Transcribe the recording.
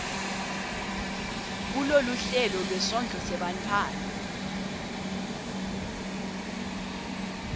kuloluhlelo lwesondlo sebantfwana